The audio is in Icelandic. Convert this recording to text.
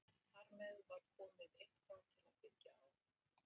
Þar með var komið eitthvað til að byggja á.